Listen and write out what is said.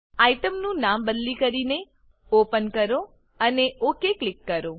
આઇટમનું નામ બદલી કરીને ઓપન કરો અને ઓક ક્લિક કરો